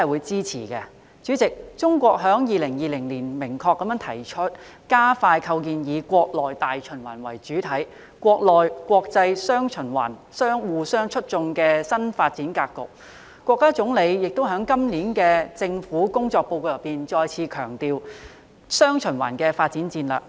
主席，中國在2020年明確提出"加快構建以國內大循環為主體、國內國際雙循環相互促進"的新發展格局，國家總理亦在今年的《政府工作報告》再次強調"雙循環"的發展戰略。